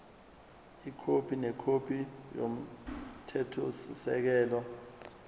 ikhophi nekhophi yomthethosisekelo